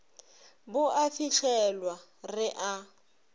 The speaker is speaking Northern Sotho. bo a fihlelwa re a